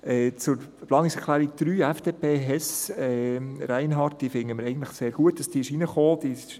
Zur Planungserklärung 3, FDP, Hess/Reinhard: Wir finden es eigentlich sehr gut, dass diese hineingekommen ist.